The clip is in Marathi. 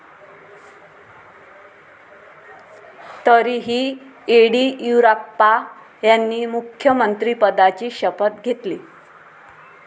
तरीही येडियुराप्पा यांनी मुख्यमंत्रिपदाची शपथ घेतली.